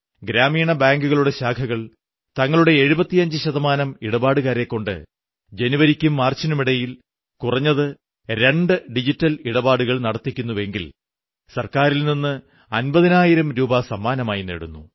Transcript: ഗ്രാമീണ ബാങ്കുകളുടെ ശാഖകൾ തങ്ങളുടെ 75 ശതമാനം ഇടപാടുകാരെക്കൊണ്ട് ജനുവരിയ്ക്കും മാർച്ചിനുമിടയിൽ കുറഞ്ഞത് രണ്ട് ഡിജിറ്റൽ ഇടപാടുകൾ നടത്തിക്കുന്നെങ്കിൽ സർക്കാരിൽ നിന്ന് അമ്പതിനായിരം രൂപ സമ്മാനമായി നേടുന്നു